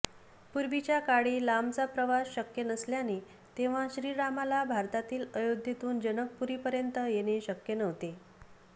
पूर्वीच्या काळी लांबचा प्रवास शक्य नसल्याने तेव्हा श्रीरामाला भारतातील अयोध्येतून जनकपुरीपर्यंत येणे शक्य नव्हते